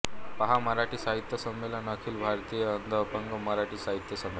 पहा मराठी साहित्य संमेलने अखिल भारतीय अंधअपंग मराठी साहित्य संमेलन